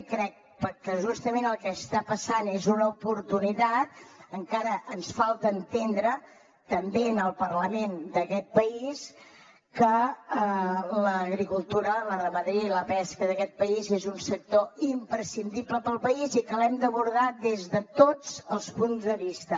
i crec que justament el que està passant és una oportunitat encara ens falta entendre també al parlament d’aquest país que l’agricultura la ramaderia i la pesca d’aquest país és un sector imprescindible per al país i que l’hem d’abordar des de tots els punts de vista